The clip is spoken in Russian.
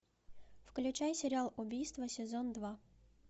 включай сериал убийство сезон два